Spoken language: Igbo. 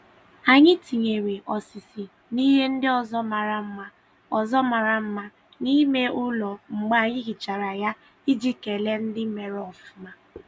Anyị tinyesiri osisi na ihe ndị ọzọ mara mma ọzọ mara mma n'ime ụlọ mgbe anyị hichara ya iji kelee ndị mere ofuma.